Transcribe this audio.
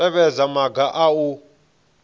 tevhedza maga aya a u